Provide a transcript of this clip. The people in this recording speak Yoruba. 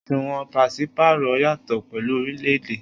Oṣuwọn paṣipaarọ yatọ pẹlu orilẹ-ede.